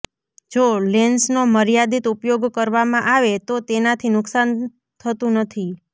જો લેન્સનો મર્યાદિત ઉપયોગ કરવામાં આવે તો તેનાથી નુકશાન થતું નથી